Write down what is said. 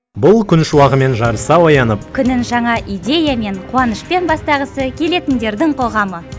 бұл күн шуағымен жарыса оянып күнін жаңа идеямен қуанышпен бастағысы келетіндердің қоғамы